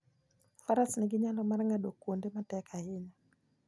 Faras nigi nyalo mar ng'ado kuonde matek ahinya.